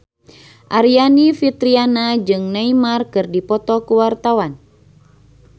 Aryani Fitriana jeung Neymar keur dipoto ku wartawan